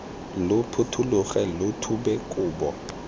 lo phuthologe lo thube kobo